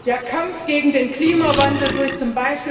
Der Kampf gegen den Klimawandel durch